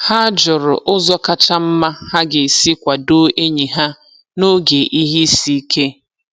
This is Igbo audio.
Ha jụrụ ụzọ kacha mma ha ga-esi kwado enyi ha n'oge ihe isi ike.